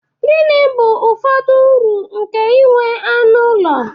Gịnị bụ ụfọdụ uru nke inwe anụ ụlọ?